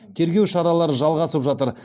тергеу шаралары жалғасып жатыр